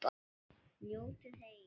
Njótið heil.